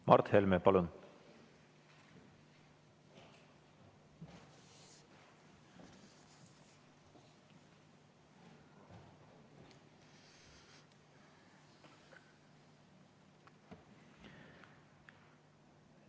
Mart Helme, palun!